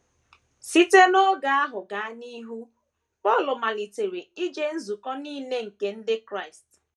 Site n’oge ahụ gaa n’ihu, Paul malitere ije nzukọ nile nke ndị Kraịst.